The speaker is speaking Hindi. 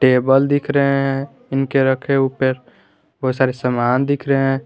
टेबल दिख रहे हैं इनके रखें ऊपर बहुत सारे सामान दिख रहे हैं।